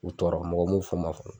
U tɔɔrɔ mɔgɔ m'u fɔ ma